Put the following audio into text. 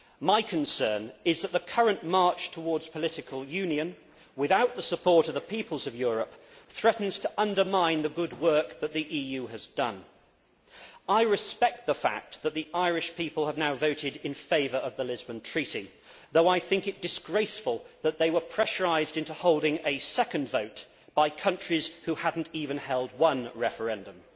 My concern is that the current march towards political union without the support of the peoples of Europe threatens to undermine the good work that the EU has done. I respect the fact that the Irish people have now voted in favour of the Lisbon Treaty, though I think it disgraceful that they were pressurised into holding a second vote by countries which had not even held one referendum.